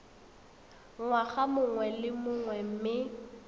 ngwaga mongwe le mongwe mme